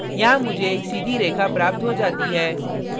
यहाँ मुझे एक सीधी रेखा प्राप्त हो जाती है